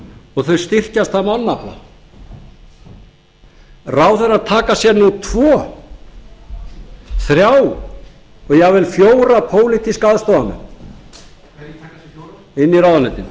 og þau styrkjast að mannafla ráðherrar taka sér nú tvo þrjá og jafnvel fjóra pólitíska aðstoðarmenn inn í ráðuneytin